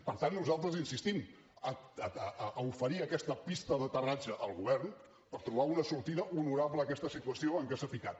per tant nosaltres insistim a oferir aquesta pista d’aterratge al govern per trobar una sortida honorable a aquesta situació en què s’ha ficat